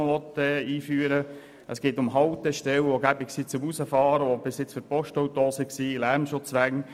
es geht um Haltestellen, die praktisch sind, um hinauszufahren, die bisher für die Postautos vorgesehen waren, und es geht um Lärmschutzwände.